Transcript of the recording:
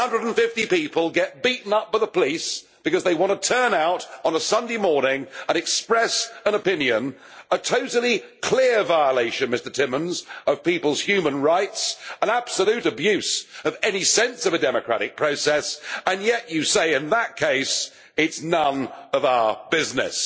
Nine hundred and fifty people get beaten up by the police because they want to turn out on a Sunday morning and express an opinion a totally clear violation, Mr Timmermans, of people's human rights, an absolute abuse of any sense of a democratic process yet you say, in that case, that it is none of our business.